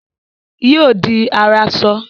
Yóò di aráṣọ